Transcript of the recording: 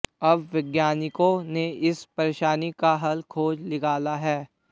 अब वैज्ञानिकों ने इस परेशानी का हल खोज निकाला है